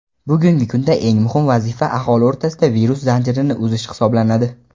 bugungi kunda eng muhim vazifa aholi o‘rtasida virus zanjirini uzish hisoblanadi.